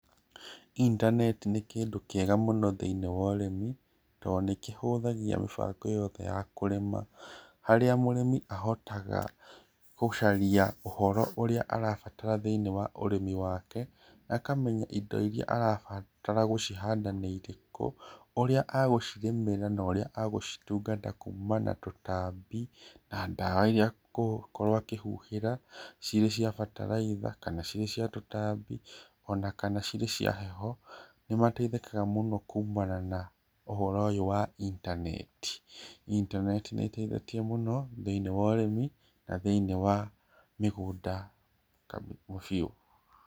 intaneti nĩ kĩndũ kĩega mũno thĩĩnĩ wa ũrĩmi, to nĩ kĩhũthagia mĩbango yothe ya kũrĩma, harĩa mũrĩmi ahotaga gũcaria ũhoro ũrĩa arabatara thĩinĩ wa ũrĩmi wake, akamenya indo iria arabatara gũcihanda nĩ irĩkũ, ũrĩa agũcirĩmĩra na ũrĩa egũcitungata kuuma na tũtambi, na ndawa iria kũkorwo akĩhuhĩra, cirĩ cia bataraitha, kana cirĩ cia tũtambi, onakana cirĩ cia heho, nĩ mateithĩkaga mũno kuumana na ũhoro ũyũ wa intaneti, intaneti nĩ ĩteithĩtie mũno, thĩinĩ wa ũrĩmi na thĩinĩ wa mĩgũnda biũ.